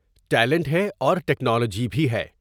Talent ہے اور technology بھی ہے ۔